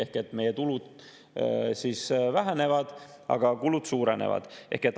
Ehk et meie tulud vähenevad, aga kulud suurenevad.